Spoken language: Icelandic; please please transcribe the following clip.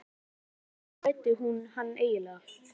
Í hvers konar heim fæddi hún hann eiginlega?